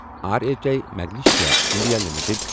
R H A magnesia India limited